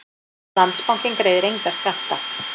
Landsbankinn greiðir enga skatta